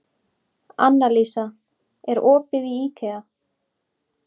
Annalísa, er opið í IKEA?